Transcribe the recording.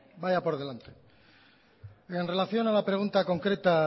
vaya por delante en relación a la pregunta concreta